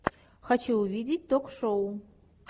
хочу увидеть ток шоу